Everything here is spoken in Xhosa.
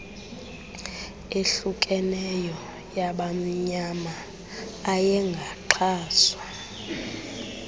ehlukeneyo yabamnyama ayengaxhaswa